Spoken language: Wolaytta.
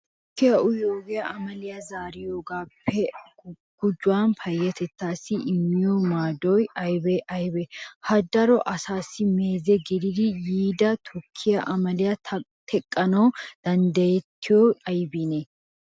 Tukkiya uyiyogee amaliya zaariyogaappe gujuwan payyatettaassi immiyo maadoy aybee aybee ? Ha daro asaassi meeze gidiiddi yiida tukkiya amaliya teqqanawu danddayettiyoy aybiinee?